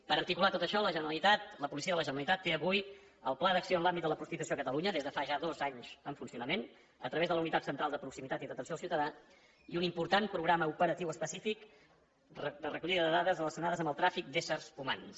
per articular tot això la generalitat la policia de la generalitat té avui el pla d’acció en l’àmbit de la prostitució a catalunya des de fa ja dos anys en funcionament a través de la unitat central de proximitat i atenció al ciutadà i un important programa operatiu específic de recollida de dades relacionades amb el tràfic d’ésser humans